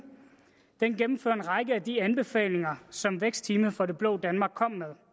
gennemfører en række af de anbefalinger som vækstteamet for det blå danmark kom med